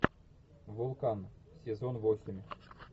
вулкан сезон восемь